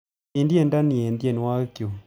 Tesyi tyendo ni eng tyenwogikchuk